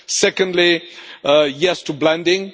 Secondly, yes to blending.